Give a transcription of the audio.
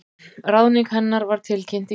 Ráðning hennar var tilkynnt í gær